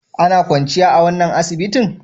Ana kwanciya a wannan asibitin?